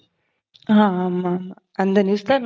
ஆமா, ஆமா. அந்த news தான்